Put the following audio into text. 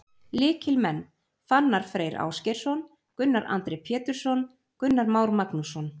Lykilmenn: Fannar Freyr Ásgeirsson, Gunnar Andri Pétursson, Gunnar Már Magnússon.